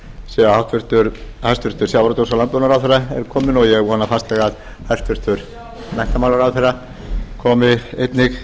sé að hæstvirtur sjávarútvegs og landbúnaðarráðherra er kominn og ég vona fastlega að hæstvirtur menntamálaráðherra komi einnig